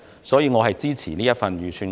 所以，我支持這份預算案。